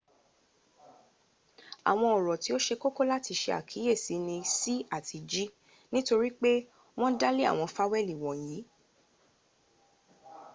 awon oro ti o se koko lati se akiyesi ni c ati g nitori pipe won da le awon faweli wonyi